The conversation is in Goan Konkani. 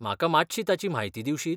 म्हाका मात्शी ताची म्हायती दिवशीत?